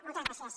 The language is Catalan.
moltes gràcies